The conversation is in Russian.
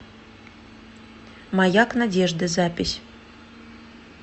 маяк надежды запись